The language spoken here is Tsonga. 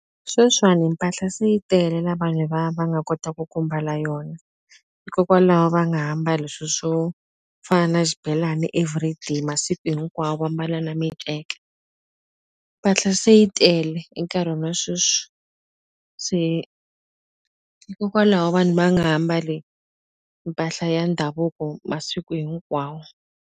Sweswiwani mpahla se yi tele la vanhu va va nga kotaku ku mbala yona hikokwalaho va nga ha mbali swi swo fana xibelani everyday masiku hinkwawo va mbala na miceke mpahla se yi tele enkarhini wa sweswi se hikokwalaho vanhu va nga ha mbali mpahla ya ndhavuko masiku hinkwawo.